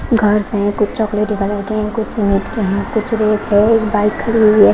घरस है कुछ चॉकलेटी कलर के है कुछ है कुछ रेत है एक बाइक खड़ी हुई हैं।